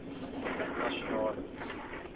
nasionale